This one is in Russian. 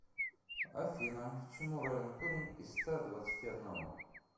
афина чему равен корень из ста двадцати одного